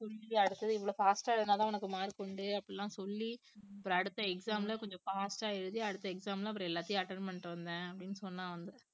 அடுத்தது இவ்ளோ fast ஆ இருந்தாதான் உனக்கு mark உண்டு அப்படி எல்லாம் சொல்லி அப்புறம் அடுத்த exam ல கொஞ்சம் fast ஆ எழுதி அடுத்த exam ல அப்புறம் எல்லாத்தையும் attend பண்ணிட்டு வந்தேன் அப்படின்னு சொன்னான் வந்து